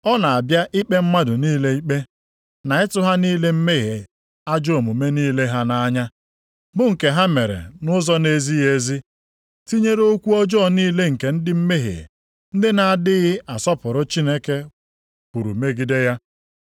Ọ na-abịa ikpe mmadụ niile ikpe, na ịtụ ha niile mmehie ajọ omume niile ha nʼanya, bụ nke ha mere nʼụzọ na-ezighị ezi. Tinyere okwu ọjọọ niile nke ndị mmehie ndị na-adịghị asọpụrụ Chineke kwuru megide ya.”